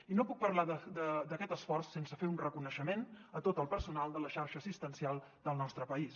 i no puc parlar d’aquest esforç sense fer un reconeixement a tot el personal de la xarxa assistencial del nostre país